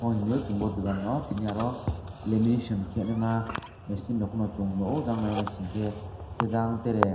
mo himiyo chwng bo dogano tini oro lamination keinama machine rok no chong nogo anke jang tere.